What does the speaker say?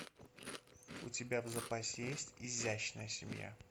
у тебя в запасе есть изящная семья